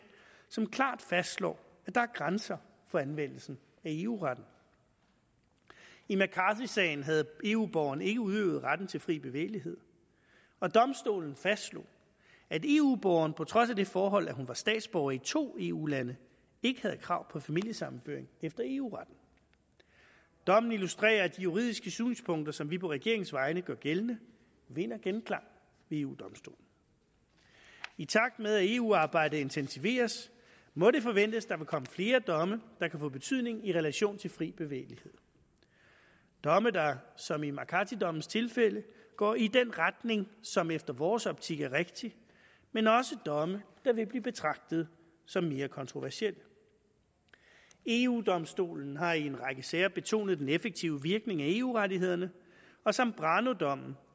som klart fastslår at grænser for anvendelsen af eu retten i mccarthy sagen havde eu borgeren ikke udøvet retten til fri bevægelighed og domstolen fastslog at eu borgeren på trods af det forhold at hun var statsborger i to eu lande ikke havde krav på familiesammenføring efter eu retten dommen illustrerer at de juridiske synspunkter som vi på regeringens vegne gør gældende vinder genklang ved eu domstolen i takt med at eu arbejdet intensiveres må det forventes at der vil komme flere domme der kan få betydning i relation til fri bevægelighed domme der som i mccarthy dommens tilfælde går i den retning som i vores optik er rigtig men også domme der vil blive betragtet som mere kontroversielle eu domstolen har i en række sager betonet den effektive virkning af eu rettighederne og zambrano dommen